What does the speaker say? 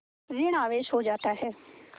ॠण आवेश हो जाता है